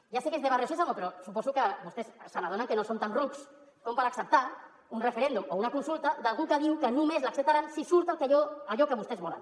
ja sé que és de barrio sésamo però suposo que vostès s’adonen que no som tan rucs com per acceptar un referèndum o una consulta d’algú que diu que només l’acceptarà si surt allò que vostès volen